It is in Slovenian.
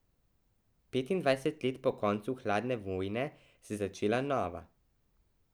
Petindvajset let po koncu hladne vojne se je začela nova.